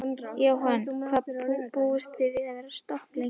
Jóhann: Hvað búist þið við að vera stopp lengi?